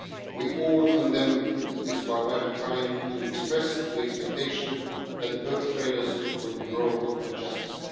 We all condemned this barbaric crime and expressed the expectation that the perpetrators would be brought to justice.